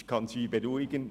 Ich kann Sie beruhigen: